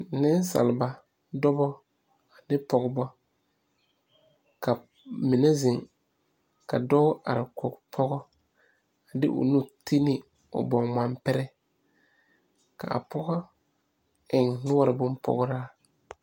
Nensaaleba dɔbɔ ane pɔgebɔ ka mine zeŋ ka dɔɔ are kɔge pɔgɔ a de o nu ti ne o baŋmampire ka a pɔgɔ eŋ noɔre bompɔgraa.